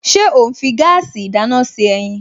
Ṣé ó ń fi gáàsì ìdáná ṣe ẹyin?